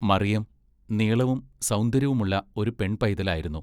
മറിയം നീളവും സൗന്ദര്യവുമുള്ള ഒരു പെൺ പൈതലായിരുന്നു.